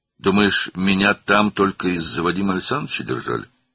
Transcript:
"Düşünürsən ki, məni orada yalnız Vadim Aleksandroviçə görə saxlayırdılar?"